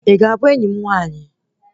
Ị ga-abụ enyi m nwaanyị?